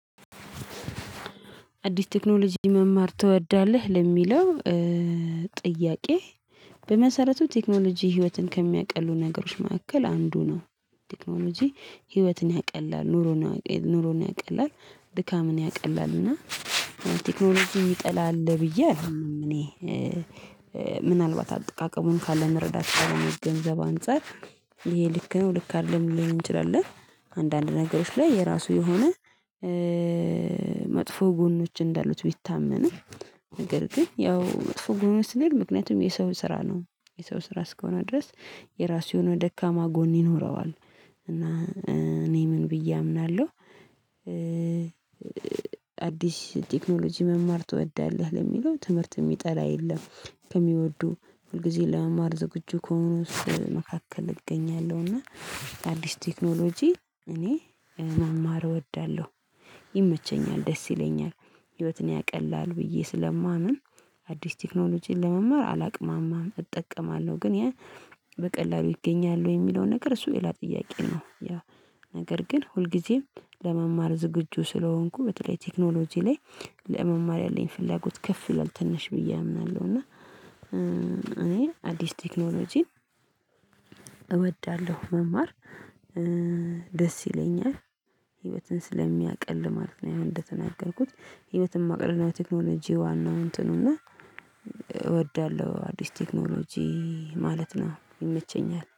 አዲስ ቴክኖሎጂ መማር ትወዳለህ ለሚለው ጥያቄ? በመሰረቱ ቴክኖሎጂ ህይወትን ከሚያቀሉ ነገሮች መካከል አንዱ ነው። ቴክኖሎጂ ህይወትን ያቀላል ኑሮን ኑሮን ያቀላል ድካምን ያቀላል እና ቴክኖሎጂን ይጠላል ብዬ አልኩኝም። እኔ ምናልባት አጠቃቀሙን ካለ መረዳት ካለ መገንዘብ አንፃር ይሄ ልክ ነው ልክ አይደለም ልንል እንችላለን። አንዳንድ ነገሮች ላይ የራሱ የሆነ መጥፎ ጎኖች እንዳሉት ቢታመንም። ነገር ግን ያው መጥፎ ጎኖች ስንል ምክንያቱም የሰው ስራ ነው የሰው ስራ እስከሆነ ድረስ የራሱ የሆነ ደካማ ጎን ይኖረዋል። እና እኔ ምን ብዬ አምናለሁ። አዲስ ቴክኖሎጂ መማር ትወዳለህ ለሚለው ትምህርት የሚጠላ የለም። ከሚወዱ ሁልጊዜ ለመማር ዝግጁ ከሆኑስ መካከል እገኛለሁ እና። አዲስ ቴክኖሎጂ እኔ መማር እወዳለሁ ይመቸኛል ደስ ይለኛል። ህይወትን ያቀላል ብዬ ስለማምን አዲስ ቴክኖሎጂን ለመማር አላቅማማም እጠቀማለሁ ግን። በቀላሉ ይገኛሉ የሚለውን ነገር እሱ ሌላ ጥያቄ ነው። ነገር ግን ሁልጊዜም ለመማር ዝግጁ ስለሆንኩ በተለይ ቴክኖሎጂ ላይ ለመማር ያለኝ ፍላጎት ከፍ ይለኛል ትንሽ ብዬ አምናለሁ እና። እኔ አዲስ ቴክኖሎጂን እወዳለሁ መማር ደስ ይለኛል። ህይወትን ስለሚያቀል ማለት ነው። አሁን እንደተናገርኩት ህይወትን ማቅለል ነው የቴክኖሎጂ ዋናው እንትኑና። እወዳለሁ አዲስ ቴክኖሎጂ ማለት ነው ይመቸኛል